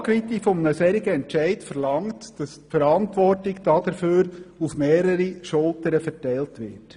Die Tragweite eines solchen Entscheids verlangt, dass die Verantwortung dafür auf mehrere Schultern verteilt wird.